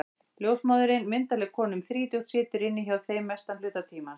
Ljósmóðirin, myndarleg kona um þrítugt, situr inni hjá þeim mestan hluta tímans.